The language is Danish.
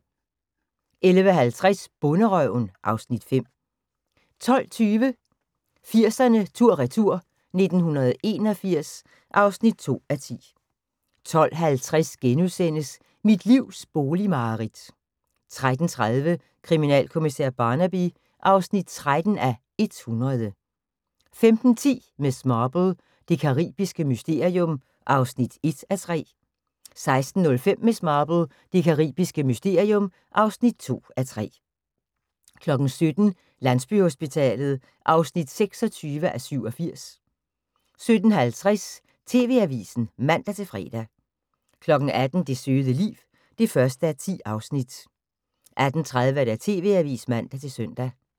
11:50: Bonderøven (Afs. 5) 12:20: 80'erne tur/retur: 1981 (2:10) 12:50: Mit livs boligmareridt * 13:30: Kriminalkommissær Barnaby (13:100) 15:10: Miss Marple: Det caribiske mysterium (1:3) 16:05: Miss Marple: Det carabiske mysterium (2:3) 17:00: Landsbyhospitalet (26:87) 17:50: TV-avisen (man-fre) 18:00: Det søde liv (1:10) 18:30: TV-avisen (man-søn)